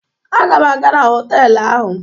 Aga m aga na họtelụ ahụ.